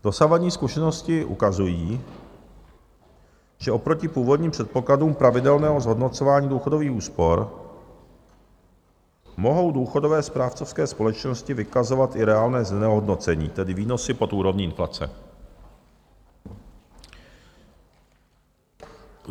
Dosavadní zkušenosti ukazují, že oproti původním předpokladům pravidelného zhodnocování důchodových úspor mohou důchodové správcovské společnosti vykazovat i reálné znehodnocení, tedy výnosy pod úrovní inflace.